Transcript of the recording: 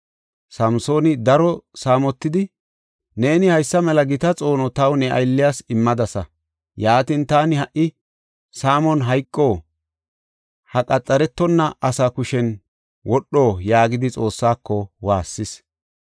Samsooni daro saamotidi, “Neeni haysa mela gita xoono taw ne aylliyas immadasa. Yaatin, taani ha77i saamon hayqo? Ha qaxaretonna asaa kushen wodho?” yaagidi Xoossaako waassis.